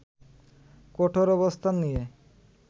কঠোর অবস্থান নিয়ে